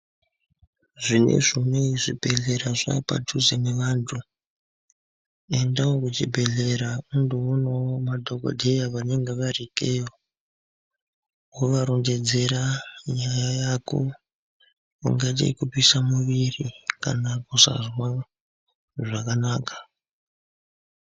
Zvinezvi zvibhedhlera zvaapadhuze nevantu. Endawo muchibhedhlera undoonawo madhogodheya vanenge vari ikeyo, wovarondedzera nyaya yako, ingaite yekupisa muviri kana kusazwa zvakanaka.